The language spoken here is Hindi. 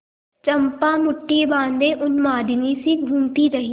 चंपा मुठ्ठी बाँधे उन्मादिनीसी घूमती रही